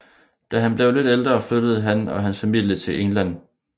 Da han blev lidt ældre flyttede han og hans familie til England